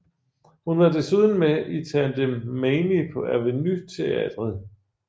Hun var desuden med i Tante Mamie på Aveny Teatret